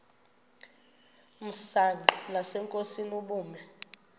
msanqa nasenkosini ubume